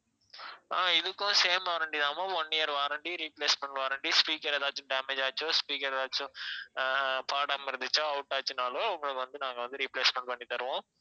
ஆஹ் இதுக்கும் same warranty தான் ma'am one year warranty replacement warranty speaker எதாச்சும் damage ஆச்சு speaker எதாச்சும் அஹ் பாடாம இருந்துச்சா out ஆச்சுனாலும் உங்களுக்கு வந்து நாங்க வந்து replacement பண்ணி தருவோம்